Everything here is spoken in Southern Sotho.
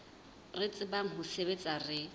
re tsebang ho sebetsa re